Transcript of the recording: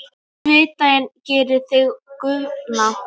Svitinn gerir þig göfugan.